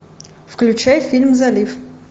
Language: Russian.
включай фильм залив